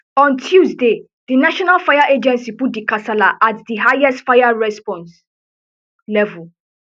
on tuesday di national fire agency put di kasala at di highest fire response level